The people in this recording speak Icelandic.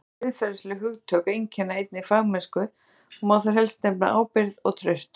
Fleiri siðferðileg hugtök einkenna einnig fagmennsku og má þar helst nefna ábyrgð og traust.